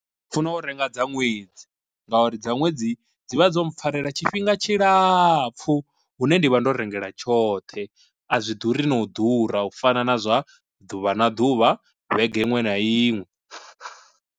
Ndi funa u renga dza ṅwedzi, ngauri dza ṅwedzi dzi vha dzo mpfharela tshifhinga tshilapfu hune ndivha ndo rengela tshoṱhe a zwi ḓuri na u ḓura u fana na zwa ḓuvha na ḓuvha vhege iṅwe na iṅwe.